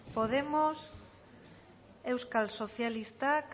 podemos euskal sozialistak